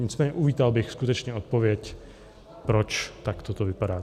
Nicméně uvítal bych skutečně odpověď, proč takto to vypadá.